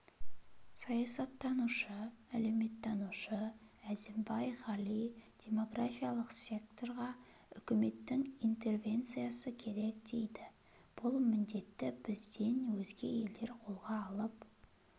саясаттанушы-әлеуметтанушы әзімбай ғали демографиялық секторға үкіметтің интервенциясы керек дейді бұл міндетті бізден өзге елдер қолға алып